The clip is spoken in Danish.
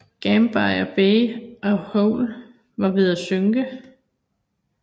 Gambier Bay og Hoel var ved at synke